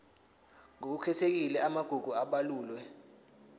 ngokukhethekile amagugu abalulwe